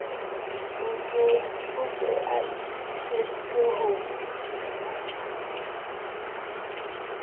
o se a itokiseditse ho